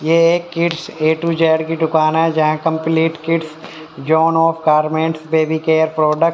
यह एक kids A to Z की दुकान है जहां कंपलीट किड्स जॉन और गारमेंटस बेबी केयर प्रोडक्ट --